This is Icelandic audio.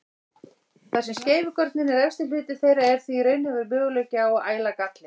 Þar sem skeifugörnin er efsti hluti þeirra er því raunhæfur möguleiki á að æla galli.